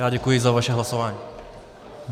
Já děkuji za vaše hlasování.